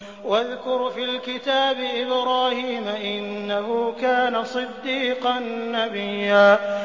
وَاذْكُرْ فِي الْكِتَابِ إِبْرَاهِيمَ ۚ إِنَّهُ كَانَ صِدِّيقًا نَّبِيًّا